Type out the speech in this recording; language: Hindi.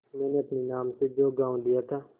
मैंने अपने नाम से जो गॉँव लिया था